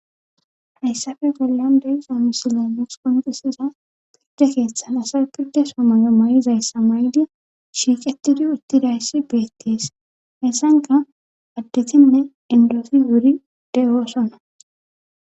Hayssafe bollan dewixa misile muks konqisiza pirde keeththan asa pirde somay'o may'izayssa may'di shiiqetidi utti dayssi beettees hessanka addetinne indofi wuri de oosonna